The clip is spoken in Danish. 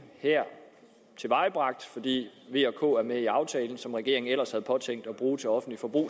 er tilvejebragt fordi v og k er med i aftalen penge som regeringen ellers havde påtænkt at bruge til offentligt forbrug